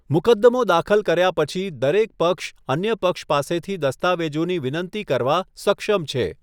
મુકદ્દમો દાખલ કર્યા પછી, દરેક પક્ષ અન્ય પક્ષ પાસેથી દસ્તાવેજોની વિનંતી કરવા સક્ષમ છે.